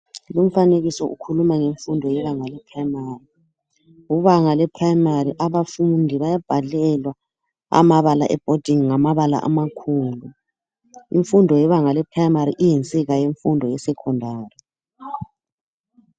Lumfanekiso ukhuluma ngemfundo yebanga le"primary", kubanga le"primary "abafundi bayabhalelwa amabala ebhodini ngamabala amakhulu. Imfundo yebanga le"primary "iyinsika yemfundo ye"secondary".